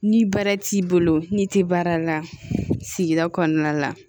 Ni baara t'i bolo n'i tɛ baara la sigida kɔnɔna la